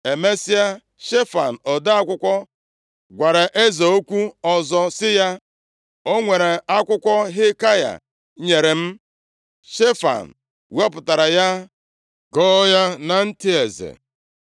Emesịa, Shefan ode akwụkwọ gwara eze okwu ọzọ sị ya, “O nwere akwụkwọ Hilkaya nyere m.” Shefan wepụtara ya gụọ ya na ntị eze.